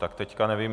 Tak teď nevím.